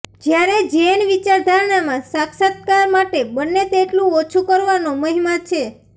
જ્યારે ઝેન વિચારધારામાં સાક્ષાત્કાર માટે બને તેટલું ઓછું કરવાનો મહિમા છે